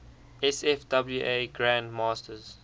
sfwa grand masters